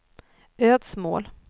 Ödsmål